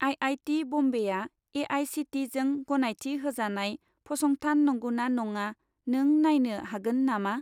IIT. बम्बेआ ए.आइ.सि.टि.इ.जों गनायथि होजानाय फसंथान नंगौना नङा नों नायनो हागोन नामा?